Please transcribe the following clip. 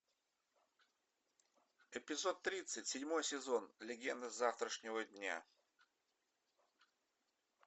эпизод тридцать седьмой сезон легенды завтрашнего дня